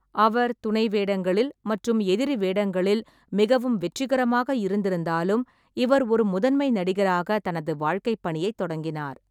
அவர் துணை வேடங்களில் மற்றும் எதிரி வேடங்களில் மிகவும் வெற்றிகரமாக இருந்திருந்தாலும், இவர் ஒரு முதன்மை நடிகராக தனது வாழ்க்கைப்பணியைத் தொடங்கினார்.